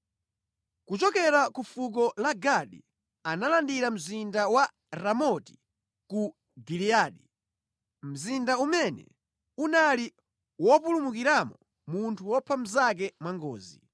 Kuchokera ku fuko la Gadi analandira mzinda wa Ramoti ku Giliyadi. Mzinda umene unali wopulumukiramo munthu wopha mnzake mwangozi.